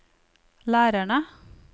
lærerne